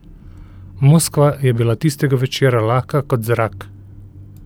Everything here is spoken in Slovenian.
Moskva je bila tistega večera lahka kot zrak.